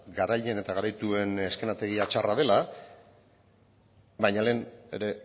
garaile eta garaituen eszenatokia txarra dela baina lehen ere